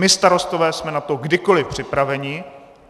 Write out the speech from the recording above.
My Starostové jsme na to kdykoliv připraveni.